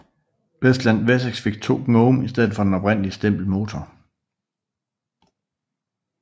Westland Wessex fik 2 Gnome i stedet for den oprindelige stempelmotor